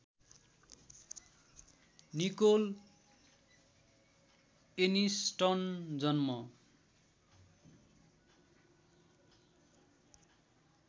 Nicol Aniston जन्म